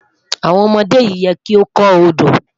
Awọn ọmọde yẹ ki o kọ Odo